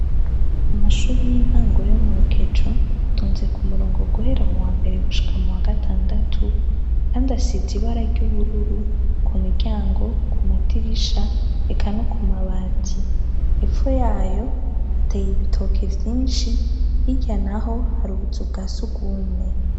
Amashuri y'intango yo mu rukecu atonze ku murongo guhera muwambere gushika muwa gatandatu kandi asize ibara ry'ubururu ku miryango ku madirisha eka no ku mabati hepfo yayo hateye ibitoke vyinshi hirya naho hari ubuzu bwa sugumwe.